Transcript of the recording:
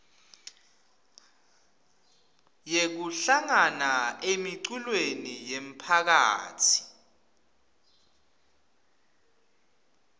yekuhlangana emiculweni yemphakatsi